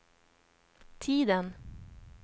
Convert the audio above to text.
tiden